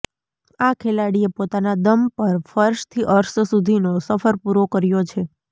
આ ખેલાડીએ પોતાના દમ પર ફર્શથી અર્શ સુધીનો સફર પૂરો કર્યો છે